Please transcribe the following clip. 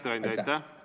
Hea ettekandja, aitäh!